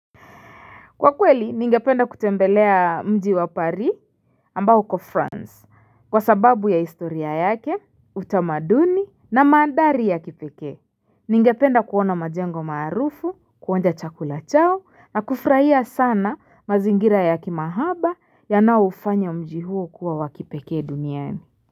Kwakweli ningependa kutembelea mji wa pari ambaho ko france kwa sababu ya historia yake utamaduni na mandari ya kipeke Ningependa kuona majengo maarufu kuonja chakula chao na kufurahia sana mazingira ya kimahaba yanao hufanya mji huo kuwa wakipekee duniani.